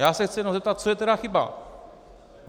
Já se chci jenom zeptat, co je tedy chyba.